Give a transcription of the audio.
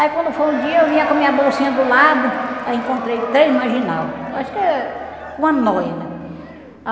Aí quando foi o dia, eu vinha com minha bolsinha do lado, aí encontrei três marginal, acho que uma noia, né?